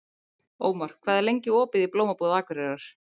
Ómar, hvað er lengi opið í Blómabúð Akureyrar?